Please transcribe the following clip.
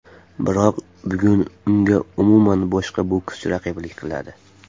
Biroq bugun unga umuman boshqa bokschi raqiblik qiladi.